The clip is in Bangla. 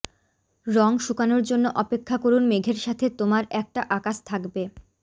রং শুকানোর জন্য অপেক্ষা করুন মেঘের সাথে তোমার একটা আকাশ থাকবে